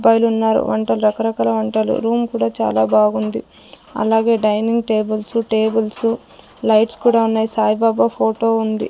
ఉన్నారు వంటల్ రకరకాల వంటలు రూమ్ కూడా చాలా బాగుంది అలాగే డైనింగ్ టేబుల్సు టేబుల్సు లైట్స్ కూడా ఉన్నాయి సాయిబాబా ఫోటో ఉంది.